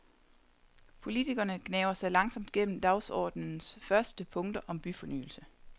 Politikerne gnaver sig langsomt gennem dagsordenen første punkter om byfornyelse.